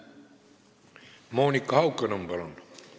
Monika Haukanõmm, palun!